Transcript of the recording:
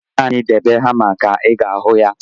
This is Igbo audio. Naanị debe hama ka ị ga-ahụ ya.